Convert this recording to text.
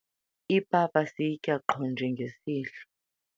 ipapa siyitya qho njengesidlo